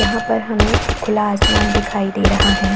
यहाँ पर हमे खुला आसमान दिखाई दे रहा है।